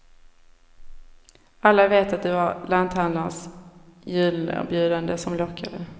Alla vet att det var lanthandlarns julerbjudande som lockade.